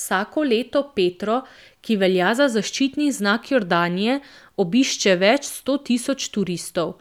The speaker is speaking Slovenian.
Vsako leto Petro, ki velja za zaščitni znak Jordanije, obišče več sto tisoč turistov,